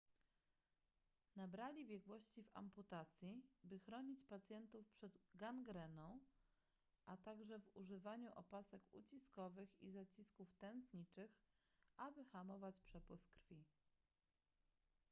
nabrali biegłości w amputacji by chronić pacjentów przed gangreną a także w używaniu opasek uciskowych i zacisków tętniczych aby hamować przepływ krwi